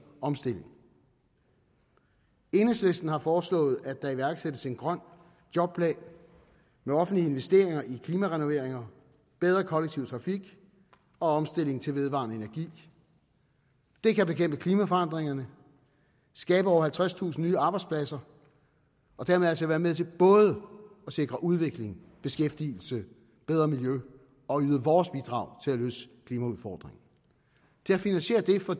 omstillingen enhedslisten har foreslået at der iværksættes en grøn jobplan med offentlige investeringer i klimarenoveringer bedre kollektiv trafik og omstilling til vedvarende energi det kan bekæmpe klimaforandringerne skabe over halvtredstusind nye arbejdspladser og dermed altså være med til både at sikre udvikling beskæftigelse bedre miljø og yde vores bidrag til at løse klimaudfordringen til at finansiere det for